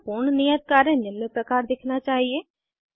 आपका पूर्ण नियत कार्य निम्न प्रकार दिखना चाहिए